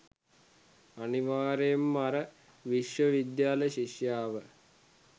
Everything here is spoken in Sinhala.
අනිවාර්යයෙන්ම අර විශ්ව විද්‍යාල ශිෂ්‍යාව